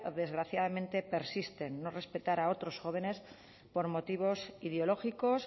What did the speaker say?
desgraciadamente persisten no respetar a otros jóvenes por motivos ideológicos